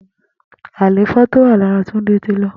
Àléfọ tó wà làrà Tunde ti lọ